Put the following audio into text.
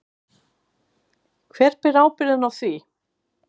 Hver ber ábyrgðina á því?